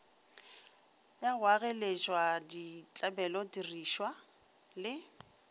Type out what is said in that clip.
wa go agaleswa ditlabelotirišwa le